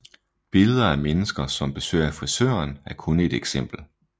Billeder af mennesker som besøger frisøren er kun et eksempel